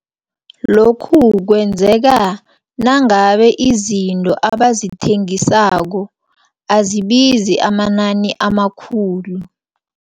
Lokhu kwenzeka nangabe, izinto abazithengisako azibizi amanani amakhulu.